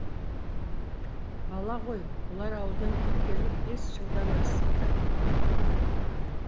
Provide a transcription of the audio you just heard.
бала ғой бұлар ауылдан кеткелі бес жылдан асыпты